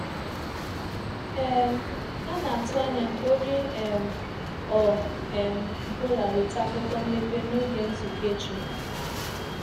um A na-atụ anya ka onye um ọ um bụla weta akụkọ mmepe n'oge nzukọ echi.